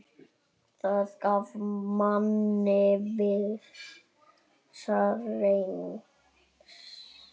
Það gaf manni vissa reisn.